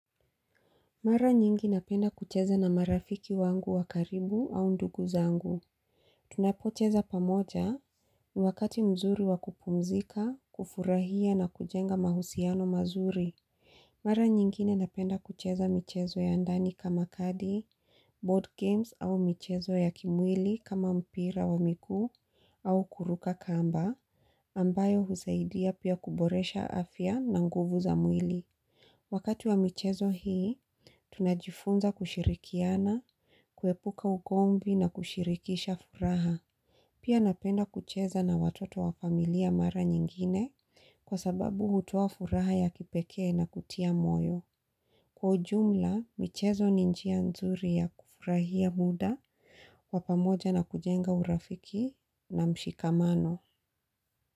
Mara nyingi napenda kucheza na marafiki wangu wakaribu au ndugu zangu. Tunapocheza pamoja ni wakati mzuri wakupumzika, kufurahia na kujenga mahusiano mazuri. Mara nyingine napenda kucheza michezo ya ndani kama kadi, board games au michezo ya kimwili kama mpira wa miguu au kuruka kamba ambayo husaidia pia kuboresha afya na nguvu za mwili. Wakati wa michezo hii, tunajifunza kushirikiana, kuepuka ugomvi na kushirikisha furaha. Pia napenda kucheza na watoto wa familia mara nyingine kwa sababu hutoa furaha ya kipekee na kutia moyo. Kwa ujumla, michezo ni njia nzuri ya kufurahia muda, wa pamoja na kujenga urafiki na mshikamano.